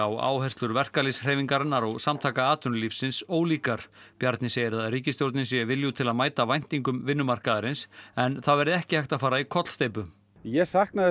og áherslur verkalýðshreyfingarinnar og Samtaka atvinnulífsins ólíkar Bjarni segir að ríkisstjórnin sé viljug til að mæta væntingum vinnumarkaðarins en það verði ekki hægt að fara í kollsteypu ég sakna þess